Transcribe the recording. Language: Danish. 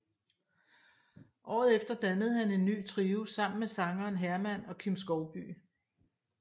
Året efter dannede han en ny trio sammen med sangeren Herman og Kim Skovbye